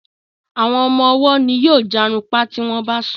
Àwọn ọmọ ọwó ní yóò jarunpa tí wón bá sùn.